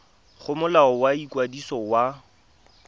go molao wa ikwadiso wa